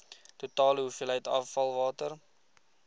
totale hoeveelheid afvalwater